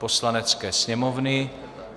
Poslanecké sněmovny